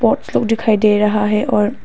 बहुत लोग दिखाई दे रहा है और--